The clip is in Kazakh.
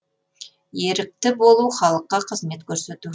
ерікті болу халыққа қызмет көрсету